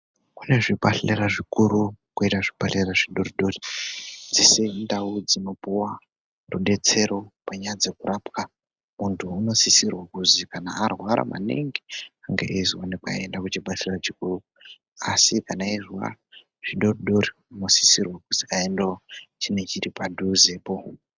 Kune zvibhadhlera zvikuru koita zvibhadhlera zvidori-dori. Dzese indau dzinopuva rubetsero panyaya dzekurapwa muntu unosisirwa kuzi kana arwara maningi ange eizoonekwa eienda kuchibhedhlera chikuru. Asi kana eizwa zvidodori unosisirwa kuzi aendevo chine chiri padhuzepo.